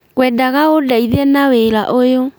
Ngwendaga ũndeithie na wĩra ũyũ